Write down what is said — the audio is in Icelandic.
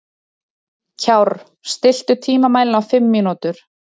Kjárr, stilltu tímamælinn á fimm mínútur.